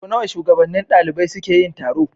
Sau nawa shugabannin ɗalibai suke yi taro?